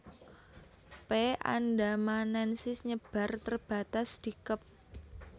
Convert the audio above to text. p andamanensis nyebar terbatas di Kep